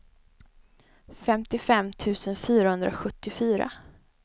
femtiofem tusen fyrahundrasjuttiofyra